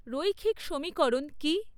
রৈখিক সমীকরণ কী?